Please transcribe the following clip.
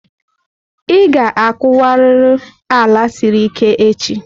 Ị ga-akuwariru ala siri ike echi!